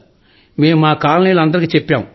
మేం మా కాలనీలో అందరికీ చెప్పాం